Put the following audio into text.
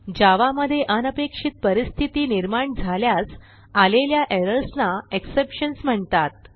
जावा मधे अनपेक्षित परिस्थिती निर्माण झाल्यास आलेल्या एरर्स ना Exceptionsम्हणतात